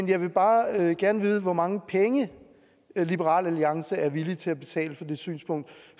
jeg vil bare gerne vide hvor mange penge liberal alliance er villig til at betale for det synspunkt